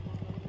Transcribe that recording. Yaxın dayan.